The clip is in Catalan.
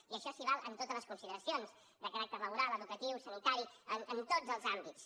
i això val en totes les consideracions de caràcter laboral educatiu sanitari en tots els àmbits